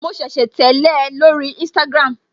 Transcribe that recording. Mo ṣẹ̀ṣẹ̀ tẹ́lẹ̀ ẹ lórí instagram